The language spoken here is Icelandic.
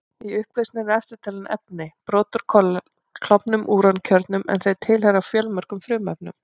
Í upplausninni eru eftirtalin efni: Brot úr klofnum úrankjörnum, en þau tilheyra fjölmörgum frumefnum.